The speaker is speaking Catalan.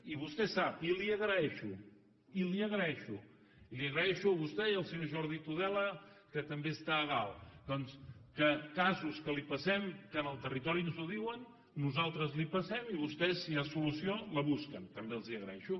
i vostè sap i li agraeixo i li agraeixo i li agraeixo a vostè i al senyor jordi tudela que també està a dalt doncs que casos que li passem que en el territori ens ho diuen nosaltres li passem i vostès si hi ha solució la busquen també els ho agraeixo